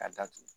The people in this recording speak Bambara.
Ka datugu